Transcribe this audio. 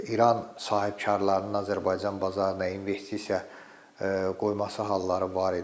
İran sahibkarlarının Azərbaycan bazarına investisiya qoyması halları var idi.